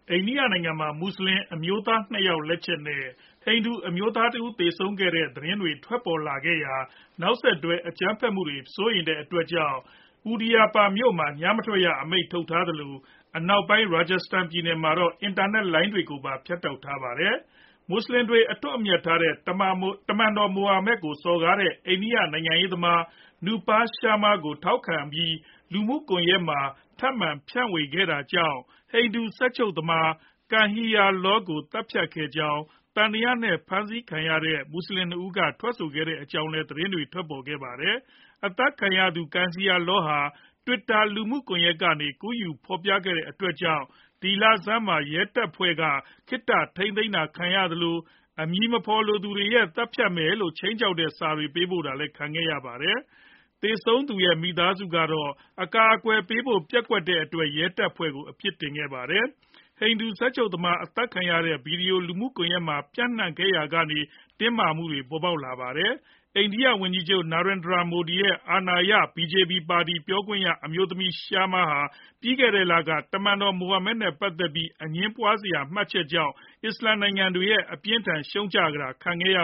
အိန္ဒိယနိုင်ငံမှာ မွတ်ဆလင် အမျိုးသား ၂ ယောက် လက်ချက်နဲ့ ဟိန္ဒိူအမျိုးသားတဦး သေဆုံးခဲ့ကြောင်း သတင်းတွေ ထွက်ပေါ်ခဲ့ရာက နောက်ဆက်တွဲ အကြမ်းဖက်မှုတွေဖြစ်မှာ စိုးရိမ်တဲ့အတွက် Udaipur မြို့မှာ ညမထွက်ရအမိန့်ထုတ်ထားသလို၊ အနောက်ပိုင်း Rajasthan ပြည်နယ်မှာတော့ အင်တာနက်လိုင်းတွေကိုပါ ဖြတ်တောက်ထားပါတယ်။ မွတ်ဆလင်တွေ အထွတ်အမြတ်ထားတဲ့ တမန်တော်မိုဟာမက်ကို စော်ကားတဲ့ အိန္ဒိယနိုင်ငံရေးသမား Nupur Sharma ကို အားပေးထောက်ခံပြီး လူမှုကွန်ရက်မှာ ထပ်မံဖြန့်ဝေခဲ့တာကြောင့် ဟိန္ဒူစက်ချုပ်သမား Kanhaiya Lal ကို သတ်ဖြတ်ခဲ့ကြောင်း သံသယနဲ့ ဖမ်းဆီးထားတဲ့ မွတ်ဆလင် ၂ ဦးက ထွက်ဆိုခဲ့ကြောင်းလည်း သတင်းတွေ ထွက်ပေါ်ခဲ့တာပါ။ အသတ်ခံခဲ့ရသူ Kanhaiya Lal ဟာလည်း Twitter လူမှုကွန်ရက်ကနေ ကူးယူဖော်ပြခဲ့တဲ့အတွက်ကြောင့် ဒီလဆန်းမှာ ရဲတပ်ဖွဲ့ရဲ့ ခေတ္တ ဖမ်းဆီးခံခဲ့ရသလို အမည်မသိတချို့ကလည်း သတ်ဖြတ်မယ်လို့ စာရေး ခြိမ်းခြောက်တာ ခံခဲ့ရပါတယ်။ သေဆုံးသူရဲ့ မိသားစုကတော့ အကာအကွယ်ပေးဖို့ ပျက်ကွက်မှုအတွက် ရဲတပ်ဖွဲ့ကို အပြစ်တင်ခဲ့ပါတယ်။ ဟိန္ဒူစက်ချုပ်သမား အသတ်ခံရတဲ့ ဗွီဒီယို လူမှုကွန်ရက်တွေမှာ ပျံ့နှံ့ခဲ့ရာက တင်းမာမှုတွေလည်း ပေါ်ပေါက်လာခဲ့တာပါ။ အိန္ဒိယဝန်ကြီးချုပ် Narendra Modi ရဲ့ အာဏာရ ဟိန္ဒိူ လက်ယျာစွန်း BJP ပါတီ ပြောရေးဆိုခွင့်ရှိသူ အမျိုးသမီး Sharma ဟာ ပြီးခဲ့တဲ့လက တမန်တော်မိုဟာမက်နဲ့ ပတ်သက်ပြီး အငြင်းပွားစရာ မှတ်ချက်ပေးခဲ့တာကြောင့် အစ္စလာမ်နိုင်ငံတွေရဲ့ အပြင်းအထန် ဝေဖန်ရှုတ်ချတာ ခံခဲ့ရ